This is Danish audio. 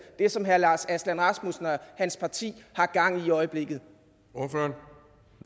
det som herre lars aslan rasmussen og hans parti har gang i i øjeblikket